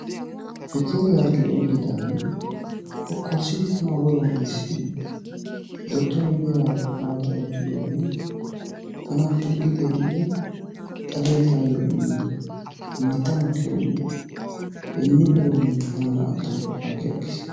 Shekkeeriya harggee oyqqidaage kokkorsdidi tana woruwau iisin dottoree diyagaakko baada oychchiddoogee tana pilggi xeellidi xaliyaa taayo immin mitta makkiyoorin hinippe doomminne tana naa"antto agi agiis.